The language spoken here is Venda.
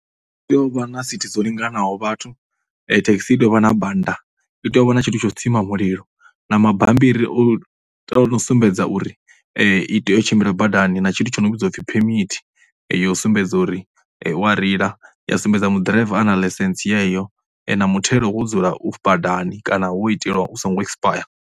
Ndi tea u vha na sithi dzo linganaho vhathu, thekhisi i tea u vha na banda, i tea u vha na tshithu tsho tsima mulilo na mabammbiri o o no sumbedza uri i tea u tshimbila badani, Na tshithu tsho no vhidzwa u pfhi phemithi ya u sumbedza uri u ya reila ya sumbedza mu, ḓiraiva a na ḽaisentse yeyo na muthelo wo dzula badani kana wo itelwa u songo ekisipaya.